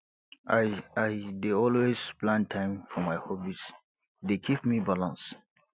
i i dey always plan time for my hobbies e dey keep me balance